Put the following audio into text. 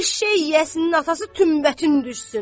Eşşək yəsinin atası tünbətin düşsün.